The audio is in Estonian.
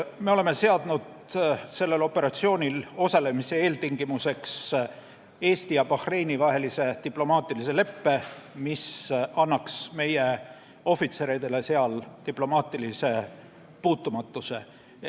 Me oleme seadnud sellel operatsioonil osalemise eeltingimuseks Eesti ja Bahreini vahelise diplomaatilise leppe, mis annaks meie ohvitseridele seal diplomaatilise puutumatuse.